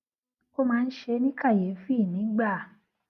ó máa ń ṣe é ní kàyéfì nígbà